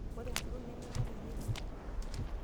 Ore enkutuk neme eno loirerio.